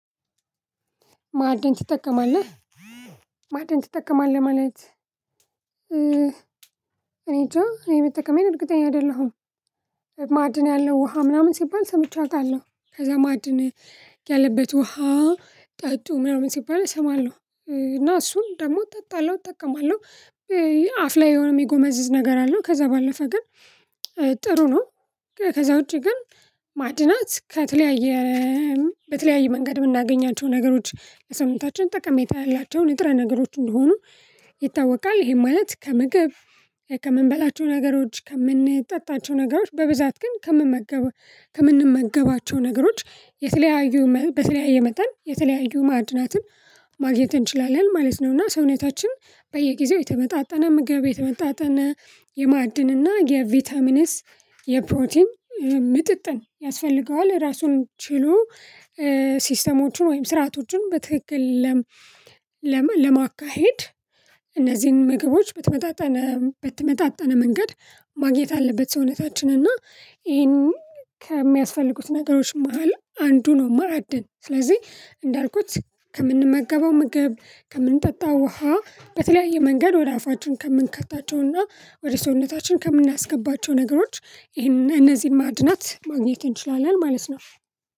ማዕድን ትጠቀማለህ ማዕድን ትጠቀማለህ ማለት እኔ እንጃ እኔ መጠቀሜን እርግጠኛ አይደለሁም። ማዕድን ያለው ውሃ ምናምን ሲባል ሰምቼ አውቃለሁ። ከዛ ማዕድን ያለበት ውሃ ጠጡ ምናምን ሲባል እሰማለሁ እና እሱን ደግሞ እጠጣለሁ እጠቀማለሁ። አፍ ላይ የሆነ የሚጎመዝዝ ነገር አለው ከዛ ባለፈ ግን ጥሩ ነው። ከዛ ውጪ ግን ማድናት ከተለያየ በተለያየ መንገድ የምናገኛቸው ነገሮች ለሰውታችን ጠቀሜታ ያላቸው ንጥረ ነገሮች እንደሆኑ ይታወቃል። ይሄም ማለት ከምግብ ከምንበላቸው ነገሮች ከምንጠጣቸው ነገሮች በብዛት ግን ከምንመገበ ከምንመገባቸው ነገሮች የተለያዩ በተለያየ መጠን የተለያዩ ማዕድናትን ማግኘት እንችላለን ማለት ነው። እና ሰውነታችን በየጊዜው የተመጣጠነ ምግብ የተመጣጠነ የማዕድንና የቪታሚንስ የፕሮቲን ምጥጥን ያስፈልገዋል። ራሱን ችሎ ሲስተሞቹን ወይም ስርዓቶቹን በትክክል ለማካሄድ እነዚህን ምግቦች በተመጣጠነ በተመጣጠነ መንገድ ማግኘት አለበት። ሰውነታችን እና ይሄንን ከሚያስፈልጉት ነገሮች መሃል አንዱ ነው። ማዕድን ስለዚህ እንዳልኩት ከምንመገበው ምግብ ከምንጠጣው ውሃ በተለያየ መንገድ ወደ አፋችን ከምንከታቸውና ወደ ሰውነታችን ከምናስገባቸው ነገሮች ይሄን እነዚህን ማድናት ማግኘት እንችላለን ማለት ነው።